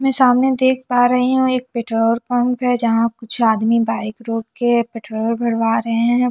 मैं सामने देख पा रही हूँ एक पेट्रोल पंप है जहाँ कुछ आदमी बाइक रोक के पेट्रोल भरवा रहे है।